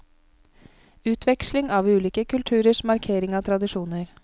Utveksling av ulike kulturers markering av tradisjoner.